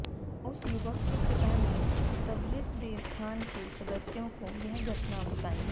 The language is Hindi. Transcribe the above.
उस युवक के पिता ने त्वरित देवस्थान के सदस्यों को यह घटना बताई